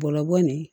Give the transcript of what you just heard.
Bɔgɔ bɔ nin